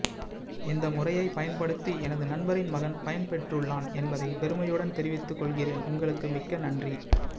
இந்த முறையைப் பயன்படுத்தி எனது நண்பரின் மகன் பயன் பெற்றுள்ளான் என்பதைப் பெருமையுடன் தெரிவித்துக் கொள்கிறேன் உங்களுக்கு மிக்க நன்றி